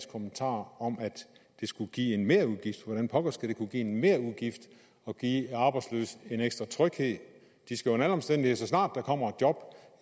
kommentar om at det skulle give en merudgift hvordan pokker skulle det kunne give en merudgift at give arbejdsløse en ekstra tryghed de skal under alle omstændigheder så snart der kommer